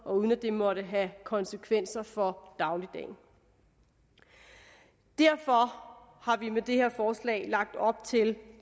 uden at det måtte have konsekvenser for dagligdagen derfor har vi med det her forslag lagt op til